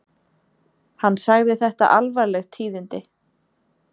Hann sagði þetta alvarleg tíðindi